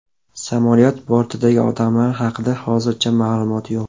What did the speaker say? Samolyot bortidagi odamlar haqida hozircha ma’lumot yo‘q.